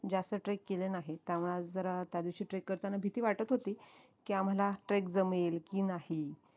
जास्त trek केले नाहीत त्यामुळे आज जरा त्यादिवशी trek करताना भीती वाटत होती कीआम्हाला trek जमेल की नाही